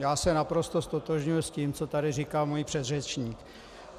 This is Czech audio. Já se naprosto ztotožňuji s tím, co tady říkal můj předřečník.